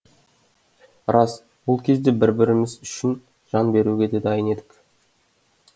рас ол кезде бір біріміз үшін жан беруге де дайын едік